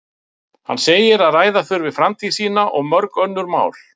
Hann segir að ræða þurfi framtíð sína og mörg önnur mál.